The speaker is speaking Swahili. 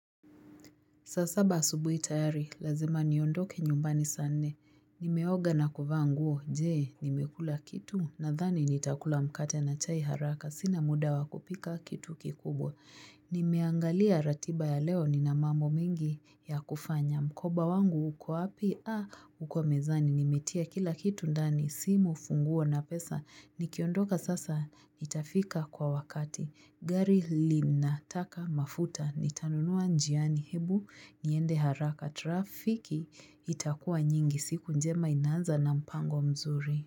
Saa saba asubuhi tayari, lazima niondoke nyumbani saa nne. Nimeoga na kuvaa nguo, je! Nimekula kitu, nadhani nitakula mkate na chai haraka, sina muda wakupika kitu kikubwa. Nimeangalia ratiba ya leo nina mambo mengi ya kufanya. Mkoba wangu uko wapi? Uko mezani. Nimetia kila kitu ndani, simu, funguo na pesa. Nikiondoka sasa, nitafika kwa wakati. Gari linataka mafuta nitanunuwa njiani hebu niende haraka trafiki itakuwa nyingi siku njema inanza na mpango mzuri.